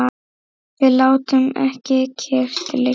Við látum ekki kyrrt liggja.